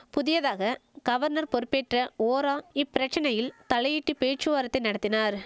புதியதாக கவர்னர் பொறுப்பேற்ற ஓரா இப்பிரச்சனையில் தலையிட்டு பேச்சுவார்த்தை நடத்தினார்